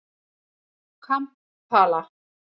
Kampala